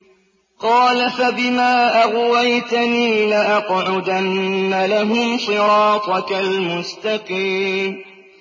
قَالَ فَبِمَا أَغْوَيْتَنِي لَأَقْعُدَنَّ لَهُمْ صِرَاطَكَ الْمُسْتَقِيمَ